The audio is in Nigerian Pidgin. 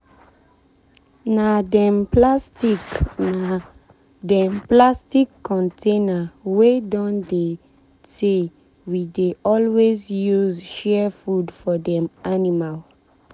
na dem plastic na dem plastic container wey don tey we dey always use share food for dem animal.